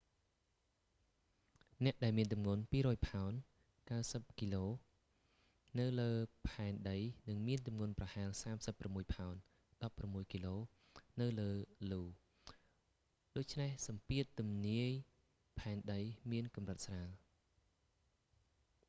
អ្នកដែលមានទម្ងន់ 200ផោន 90គក នៅលើផែនដីនឹងមានទម្ងន់ប្រហែល 36ផោន 16គក នៅលើ io ដូច្នេះសម្ពាធទំនាយផែនដីមានកម្រិតស្រាល